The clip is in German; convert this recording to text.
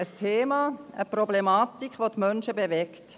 Sie sind ein Thema, eine Problematik, welche die Menschen bewegt.